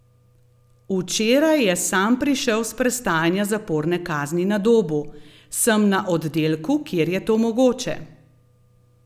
Včeraj je sam prišel s prestajanja zaporne kazni na Dobu: 'Sem na oddelku, kjer je to mogoče.